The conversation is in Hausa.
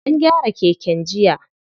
An gyara keken jiya.